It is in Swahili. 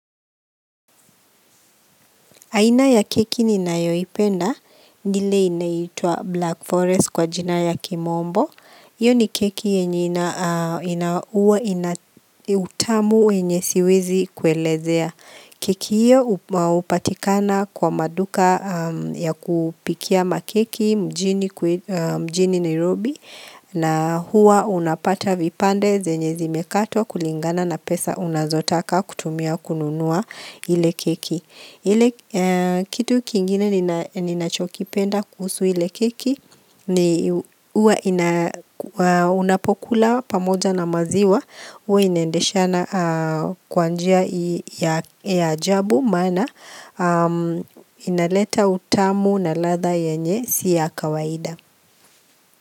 Aina ya keki ninayoipenda, ni ile inaitwa Black Forest kwa jina ya kimombo. Iyo ni keki yenye ina huwa ina utamu wenye siwezi kuelezea. Keki hiyo hupatikana kwa maduka ya kupikia makeki mjini Nairobi na huwa unapata vipande zenye zimekatwa kulingana na pesa unazotaka kutumia kununua ile keki. Ile kitu kingine ninachokipenda kuhusu ile keki ni huwa unapokula pamoja na maziwa huwa inaendeshana kwa njia ya ajabu maana inaleta utamu na ladha yenye si ya kawaida.